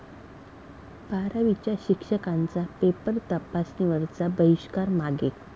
बारावीच्या शिक्षकांचा पेपर तपासणीवरचा बहिष्कार मागे